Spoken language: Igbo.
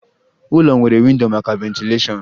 Ụlọ nwere windo maka ventilashion